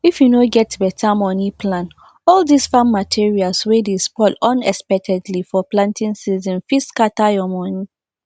if you no get better money plan all this farm materials wey dey spoil unexpectedly for planting season fit scatter your money